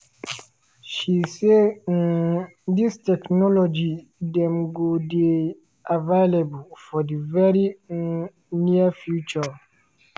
she say um dis technology dem go dey "available for di very um near future".